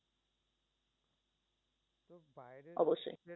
অবশ্যই।